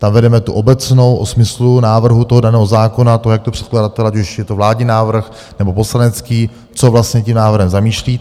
Tam vedeme tu obecnou o smyslu návrhu toho daného zákona, to, jak to předkladatel - ať už je to vládní návrh nebo poslanecký, co vlastně tím návrhem zamýšlí.